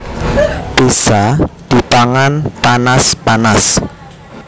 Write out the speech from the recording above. Pizza dipangan panas panas